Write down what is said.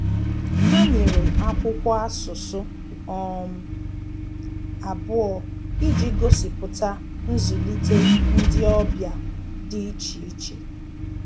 Ha nyere akwụkwọ asụsụ um abụọ iji gosipụta nzulite ndị ọbịa dị iche iche